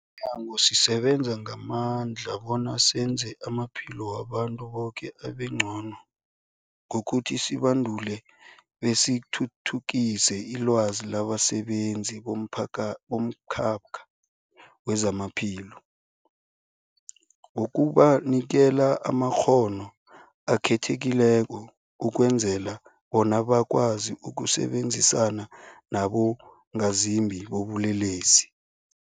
Simnyango, sisebenza ngamandla bona senze amaphilo wabantu boke abengcono ngokuthi sibandule besithuthukise ilwazi labasebenzi bomphaka bomkhakha wezamaphilo ngokubanikela amakghono akhethekileko ukwenzela bona bakwazi ukusebenzisana nabongazimbi bobulelesi.